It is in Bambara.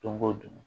Don ko don